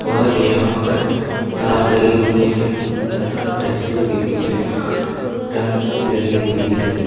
और यहां पर तार लगे हुए हैं तथा तहसील के पीछे टंकी लगी हुई है।